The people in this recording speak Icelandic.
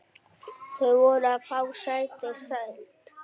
Þar voru fá sæti seld.